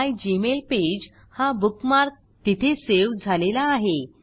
मिगमेलपेज हा बुकमार्क तिथे सेव्ह झालेला आहे